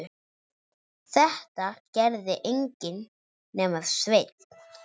Þetta gerði enginn nema Sveinn.